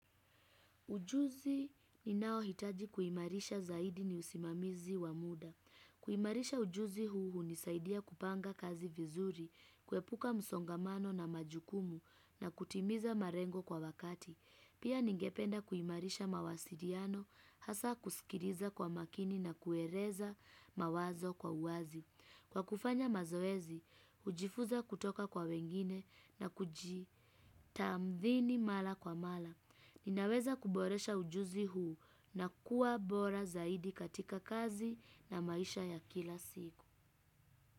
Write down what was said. Ujuzi ninaohitaji kuimarisha zaidi ni usimamizi wa muda. Kuimarisha ujuzi huu hunisaidia kupanga kazi vizuri, kuepuka msongamano na majukumu na kutimiza marengo kwa wakati. Pia ningependa kuimarisha mawasiliano, hasa kusikiliza kwa makini na kueleza mawazo kwa uwazi. Kwa kufanya mazoezi, hujifunza kutoka kwa wengine na kuji tamdhini mara kwa mara. Ninaweza kuboresha ujuzi huu na kuwa bora zaidi katika kazi na maisha ya kila siku.